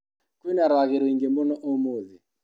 Kwĩna rwagĩ rũingĩ mũno ũmũthĩ.